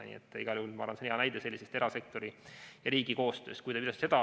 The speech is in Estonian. Nii et igal juhul ma arvan, et see on hea näide erasektori ja riigi koostöö kohta.